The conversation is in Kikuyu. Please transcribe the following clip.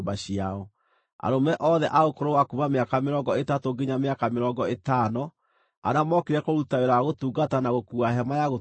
Arũme othe a ũkũrũ wa kuuma mĩaka mĩrongo ĩtatũ nginya mĩaka mĩrongo ĩtano arĩa mookire kũruta wĩra wa gũtungata na gũkuua Hema-ya-Gũtũnganwo,